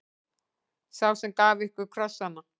Sá sem gaf ykkur krossana.